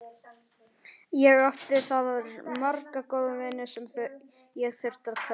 Ég átti þar marga góða vini sem ég þurfti að kveðja.